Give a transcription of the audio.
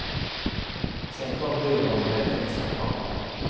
Sedan kom byrån med ett extra krav.